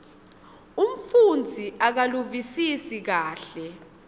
umfundzi akaluvisisi kahle